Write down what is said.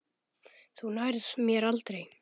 Þú nærð mér aldrei.